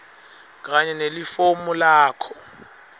kanye nelifomu lakho